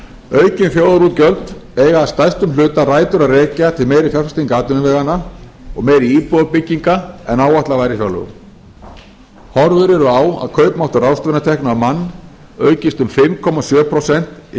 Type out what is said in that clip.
aukin þjóðarútgjöld eiga að stærstum hluta rætur að rekja til meiri fjárfestinga atvinnuveganna og meiri íbúðabygginga en áætlað var í fjárlögum horfur eru á að kaupmáttur ráðstöfunartekna á mann aukist um fimm komma sjö prósent í